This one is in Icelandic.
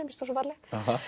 finnst hún svo falleg